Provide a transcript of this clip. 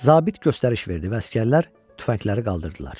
Zabit göstəriş verdi və əsgərlər tüfəngləri qaldırdılar.